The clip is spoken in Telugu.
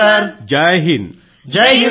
సి కేడెట్స్ అందరూ జైహింద్ సర్